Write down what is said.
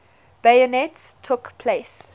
bayonets took place